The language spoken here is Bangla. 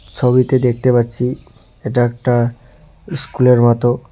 ছবিতে দেখতে পাচ্ছি এটা একটা ইস্কুলের মত।